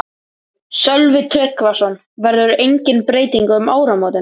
Sölvi Tryggvason: Verður engin breyting um áramótin?